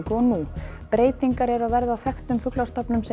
og nú breytingar eru að verða á þekktum fuglastofnum sem